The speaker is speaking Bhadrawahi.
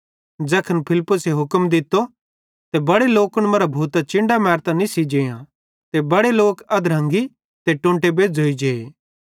ज़ैखन फिलपुसे हुक्म दित्तो त बड़े लोकन मरां भूतां चिन्डां मैरतां निस्सी जेअं ते बड़े लोक अधरंगी ते टोंटे बेज़्झ़ोइ जे